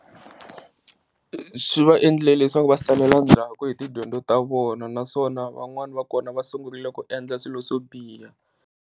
Swi va endlile leswaku va salela ndzhaku hi tidyondzo ta vona, naswona van'wani va kona va sungurile ku endla swilo swo biha.